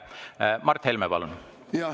Mart Helme, palun!